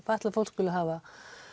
fatlað fólk skuli hafa